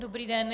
Dobrý den.